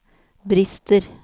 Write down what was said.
brister